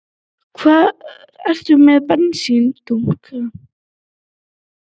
Hvar ertu með bensíndunkana?